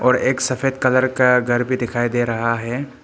और एक सफेद कलर का घर भी दिखाई दे रहा है।